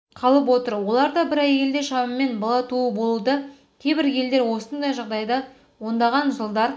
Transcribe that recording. қалып отыр оларда бір әйелде шамамен бала туу болуда кейбір елдер осындай жағдайда ондаған жылдар